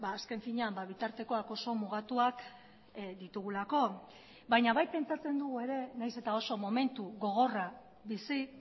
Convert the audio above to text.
azken finean bitartekoak oso mugatuak ditugulako baina bai pentsatzen dugu ere nahiz eta oso momentu gogorra bizi